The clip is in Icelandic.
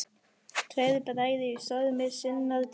Tveir bræður í stormi sinnar tíðar.